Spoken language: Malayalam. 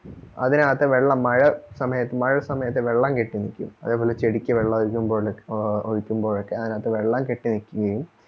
അതിനകത്തു വെള്ളം മഴ സമയത്തു മഴ സമയത്തു വെള്ളം കെട്ടി നിക്കും അതേപോലെ ചെടിക്ക് വെള്ളമൊഴിക്കുംബോയ് ഒഴിക്കുമ്ബോയൊക്കെ അതിനകത്തു വെള്ളം കെട്ടിനിക്കുകയും